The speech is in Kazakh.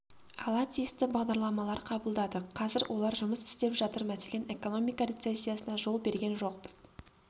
ала тиісті бағдарламалар қабылдадық қазір олар жұмыс істеп жатыр мәселен экономика рецессиясына жол берген жоқпыз